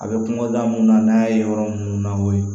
A bɛ kungoda mun na n'a ye yɔrɔ minnu lakori